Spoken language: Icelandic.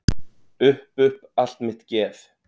Upp upp allt mitt geð.